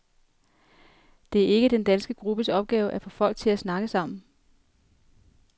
Det er ikke den danske gruppes opgave at få folk til at snakke sammen.